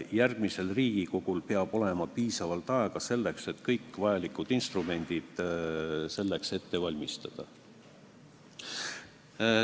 Järgmisel Riigikogul peab olema piisavalt aega, et kõik vajalikud instrumendid ette valmistada.